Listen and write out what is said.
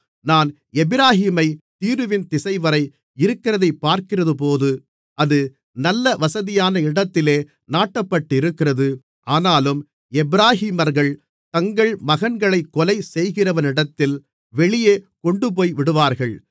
நான் எப்பிராயீமைத் தீருவின் திசைவரை இருக்கிறதைப் பார்க்கிறபோது அது நல்ல வசதியான இடத்திலே நாட்டப்பட்டிருக்கிறது ஆனாலும் எப்பிராயீமர்கள் தங்கள் மகன்களைக் கொலை செய்கிறவனிடத்தில் வெளியே கொண்டுபோய்விடுவார்கள்